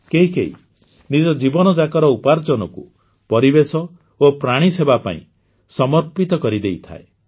କେହି ନିଜ ଜୀବନଯାକର ଉପାର୍ଜନକୁ ପରିବେଶ ଓ ପ୍ରାଣୀ ସେବା ପାଇଁ ସମର୍ପିତ କରିଦେଇଥାଏ